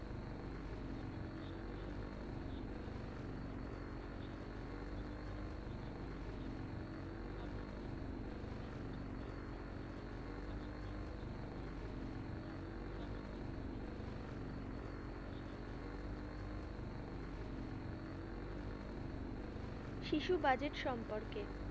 শিশু বাজেট সম্পর্কে,